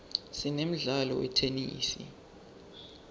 sinemdlalo wetenesi